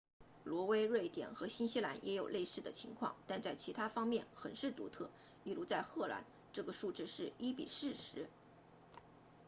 挪威瑞典和新西兰也有类似的情况但在其他方面很是独特例如在荷兰这个数字是一比四十